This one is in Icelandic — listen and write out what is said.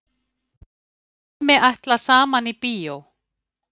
Er ekki formsatriði fyrir ykkur að klára þetta og komast upp?